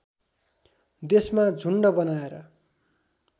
देशमा झुन्ड बनाएर